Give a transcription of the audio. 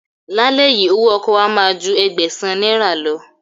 Lálẹ́ yìí, owó ọkọ̀ wa máa ju Ẹgbẹ̀sán náírà lọ.